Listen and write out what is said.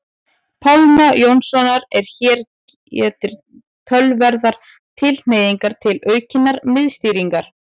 Pálma Jónssonar að hér gætir töluverðrar tilhneigingar til aukinnar miðstýringar.